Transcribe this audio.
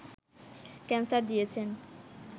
cancer দিয়েছেন